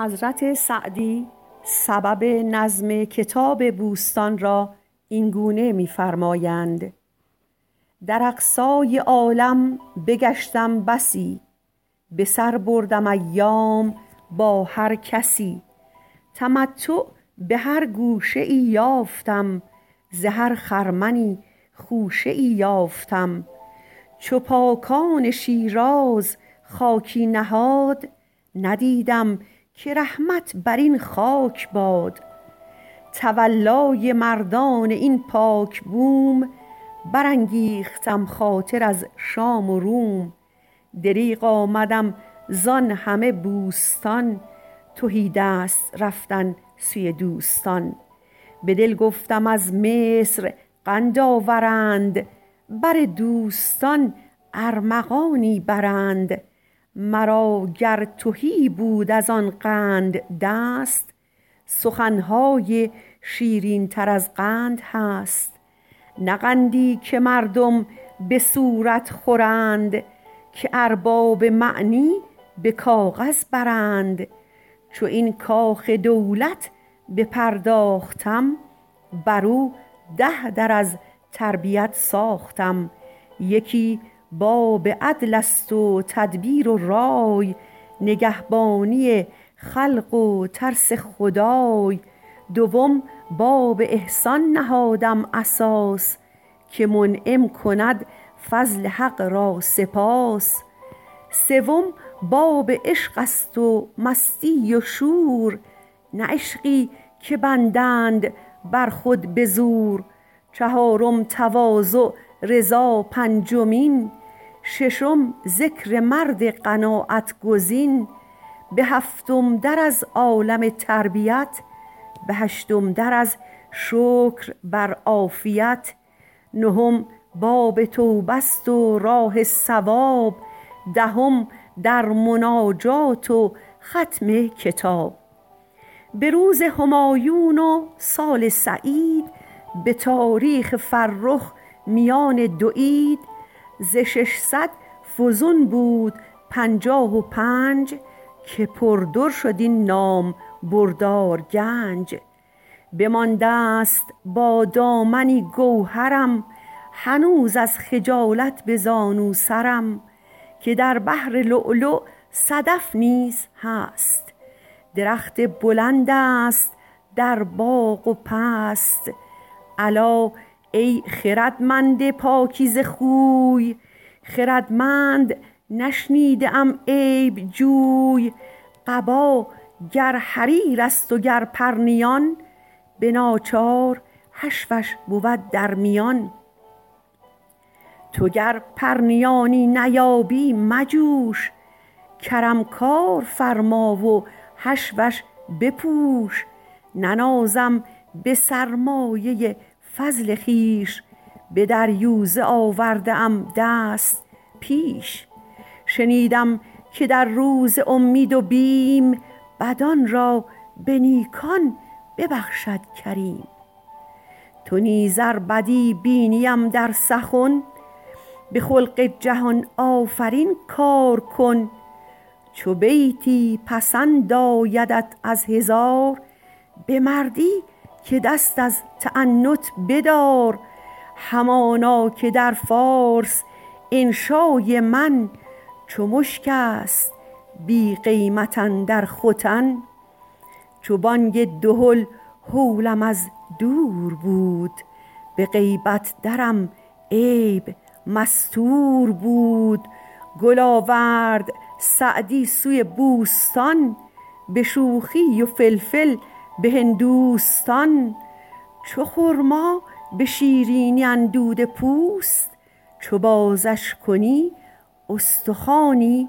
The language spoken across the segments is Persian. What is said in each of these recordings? در اقصای عالم بگشتم بسی به سر بردم ایام با هر کسی تمتع به هر گوشه ای یافتم ز هر خرمنی خوشه ای یافتم چو پاکان شیراز خاکی نهاد ندیدم که رحمت بر این خاک باد تولای مردان این پاک بوم برانگیختم خاطر از شام و روم دریغ آمدم زآن همه بوستان تهیدست رفتن سوی دوستان به دل گفتم از مصر قند آورند بر دوستان ارمغانی برند مرا گر تهی بود از آن قند دست سخن های شیرین تر از قند هست نه قندی که مردم به صورت خورند که ارباب معنی به کاغذ برند چو این کاخ دولت بپرداختم بر او ده در از تربیت ساختم یکی باب عدل است و تدبیر و رای نگهبانی خلق و ترس خدای دوم باب احسان نهادم اساس که منعم کند فضل حق را سپاس سوم باب عشق است و مستی و شور نه عشقی که بندند بر خود بزور چهارم تواضع رضا پنجمین ششم ذکر مرد قناعت گزین به هفتم در از عالم تربیت به هشتم در از شکر بر عافیت نهم باب توبه است و راه صواب دهم در مناجات و ختم کتاب به روز همایون و سال سعید به تاریخ فرخ میان دو عید ز ششصد فزون بود پنجاه و پنج که پر در شد این نامبردار گنج بمانده ست با دامنی گوهرم هنوز از خجالت به زانو سرم که در بحر لؤلؤ صدف نیز هست درخت بلند است در باغ و پست الا ای خردمند پاکیزه خوی خردمند نشنیده ام عیب جوی قبا گر حریر است و گر پرنیان به ناچار حشوش بود در میان تو گر پرنیانی نیابی مجوش کرم کار فرما و حشوش بپوش ننازم به سرمایه فضل خویش به دریوزه آورده ام دست پیش شنیدم که در روز امید و بیم بدان را به نیکان ببخشد کریم تو نیز ار بدی بینیم در سخن به خلق جهان آفرین کار کن چو بیتی پسند آیدت از هزار به مردی که دست از تعنت بدار همانا که در فارس انشای من چو مشک است بی قیمت اندر ختن چو بانگ دهل هولم از دور بود به غیبت درم عیب مستور بود گل آورد سعدی سوی بوستان به شوخی و فلفل به هندوستان چو خرما به شیرینی اندوده پوست چو بازش کنی استخوانی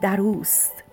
در اوست